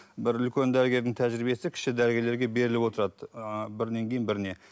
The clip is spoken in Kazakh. бір үлкен дәрігердің тәжірбиесі кіші дәрігерлерге беріліп отырады ыыы бірінен кейін біріне